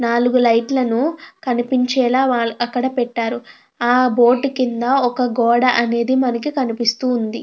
నాలుగు లైట్ లను కనిపించేలా వా అక్కడ పెట్టారు. ఆ బోర్డు కింద ఒక గోడ అనేది మనకి కనిపిస్తూ ఉంది.